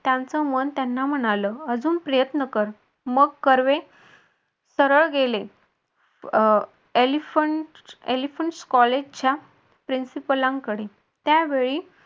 त्यांचं मन त्यांना म्हणाल अजून प्रयत्न कर मग कर्वे सरळ गेले कडे त्यावेळी